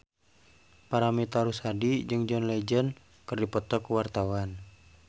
Paramitha Rusady jeung John Legend keur dipoto ku wartawan